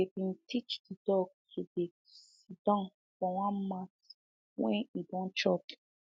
them been teach the dog to dey siddon for one mat when e dey chop